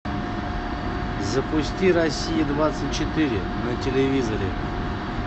запусти россия двадцать четыре на телевизоре